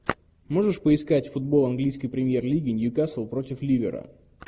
можешь поискать футбол английской премьер лиги ньюкасл против ливера